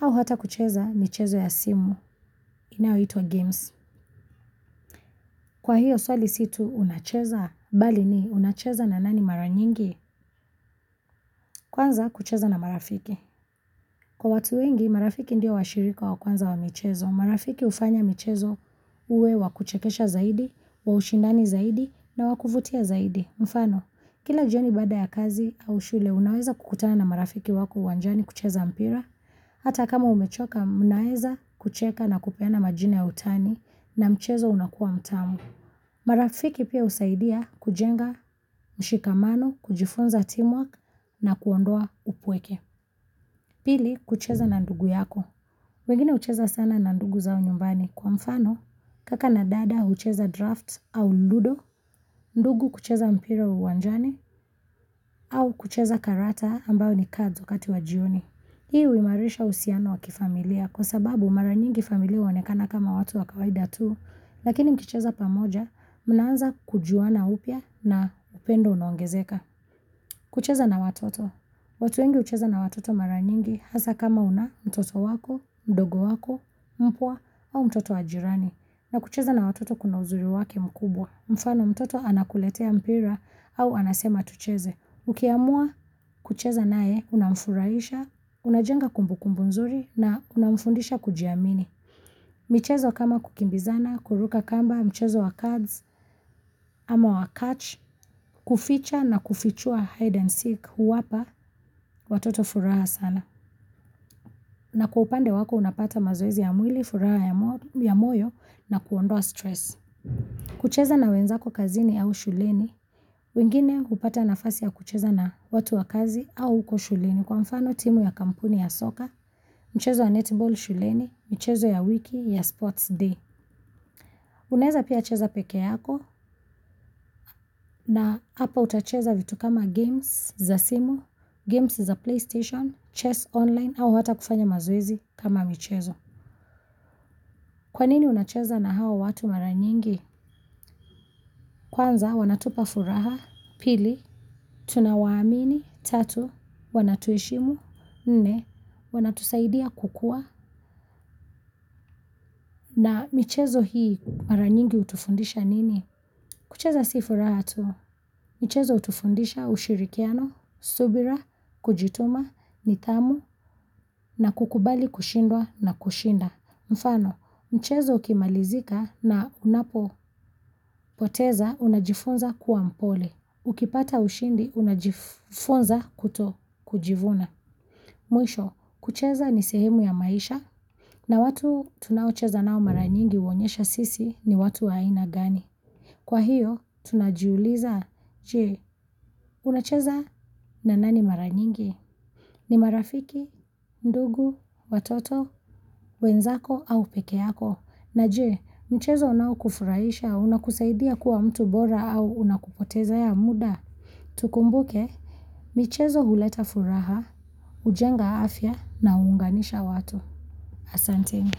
au hata kucheza michezo ya simu, inayoitwa games. Kwa hiyo swali si tu unacheza, bali ni unacheza na nani maranyingi. Kwanza kucheza na marafiki. Kwa watu wengi, marafiki ndio washirika wa kwanza wa michezo. Marafiki hufanya michezo uwe wa kuchekesha zaidi, wa ushindani zaidi na wakuvutia zaidi. Mfano, kila jioni baada ya kazi au shule, unaweza kukutana na marafiki wako uwanjani kucheza mpira. Hata kama umechoka, mnaweza kucheka na kupeana majina ya utani na mchezo unakuwa mtamu. Marafiki pia husaidia kujenga mshikamano, kujifunza teamwork na kuondoa upweke. Pili, kucheza na ndugu yako. Wengine hucheza sana na ndugu zao nyumbani kwa mfano kaka na dada hucheza draft au ludo, ndugu kucheza mpira wa uwanjani au kucheza karata ambayo ni cards wakati wa jioni. Hii huimarisha uhusiano wa kifamilia kwa sababu mara nyingi familia huonekana kama watu wa kawaida tu, lakini mkicheza pamoja, mnaanza kujuana upya na upendo unaongezeka. Kucheza na watoto. Watu wengi hucheza na watoto mara nyingi hasa kama una mtoto wako, mdogo wako, mpwa, au mtoto wa jirani. Na kucheza na watoto kuna uzuri wake mkubwa, mfano mtoto anakuletea mpira au anasema tucheze. Ukiamua kucheza nae, unamfurahisha, unajenga kumbu kumbu nzuri na unamfundisha kujiamini. Michezo kama kukimbizana, kuruka kamba, mchezo wa cards, ama wa catch, kuficha na kufichua hide and seek huwapa watoto furaha sana. Na kwa upande wako unapata mazoezi ya mwili, furaha ya moyo na kuondoa stress. Kucheza na wenzako kazini au shuleni, wengine hupata nafasi ya kucheza na watu wa kazi au huko shuleni. Kwa mfano timu ya kampuni ya soka, mchezo ya netball shuleni, mchezo ya wiki ya sports day. Unaweza pia cheza peke yako na hapa utacheza vitu kama games za simu, games za playstation, chess online, au hata kufanya mazoezi kama michezo. Kwanini unacheza na hawa watu maranyingi? Kwanza wanatupa furaha, pili, tunawaamini, tatu, wanatuheshimu, nne, wanatusaidia kukua. Na michezo hii maranyingi hutufundisha nini? Kucheza si furaha tu. Mchezo hutufundisha ushirikiano, subira, kujituma, nidhamu, na kukubali kushindwa na kushinda. Mfano, mchezo ukimalizika na unapo poteza unajifunza kuwa mpole. Ukipata ushindi unajifunza kuto kujivuna. Mwisho, kucheza ni sehemu ya maisha na watu tunaocheza nao maranyingi huonyesha sisi ni watu wa ina gani. Kwa hiyo, tunajiuliza. Je unacheza na nani maranyingi? Ni marafiki, ndugu, watoto, wenzako au pekeyako. Na je mchezo unao kufurahisha unakusaidia kuwa mtu bora au unakupotezea muda. Tukumbuke, michezo huleta furaha, hujenga afya na huunganisha watu. Ahsanteni.